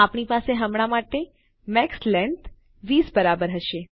આપણી પાસે હમણાં માટે મેક્સ લેંગ્થ 20 બરાબર હશે